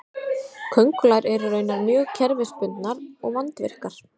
köngulær eru raunar mjög kerfisbundnar og vandvirkar